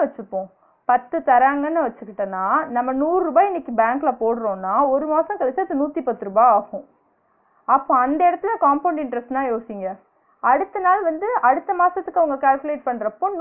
வச்சுபோ பத்து தராங்கனு வச்சிகிட்டனா நம்ம நூறு ருபா இன்னிக்கு பேங்க்ல போடுறோன்னா ஒரு மாசோ கழிச்சி அது நூத்திபத்து ருவா ஆகும் அப்ப அந்த எடத்துல compound interest ன்னா யோசிங்க அடுத்த நாள் வந்து அடுத்த மாசத்துக்கு அவுங்க calculate பண்றப்ப